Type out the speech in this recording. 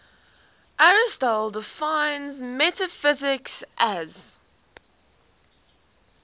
aristotle defines metaphysics as